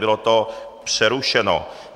Bylo to přerušeno.